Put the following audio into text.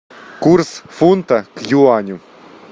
курс фунта к юаню